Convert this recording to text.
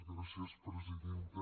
gràcies presidenta